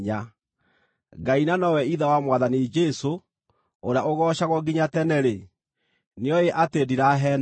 Ngai, na nowe Ithe wa Mwathani Jesũ, ũrĩa ũgoocagwo nginya tene-rĩ, nĩoĩ atĩ ndiraheenania.